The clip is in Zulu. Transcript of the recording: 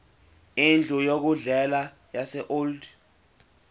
indlu yokudlela yaseold